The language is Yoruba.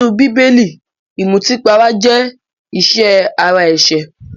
Nínú bíbélì, ìmùtípara jẹ́ ìṣe ara ẹ̀ṣẹ̀